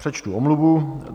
Přečtu omluvu.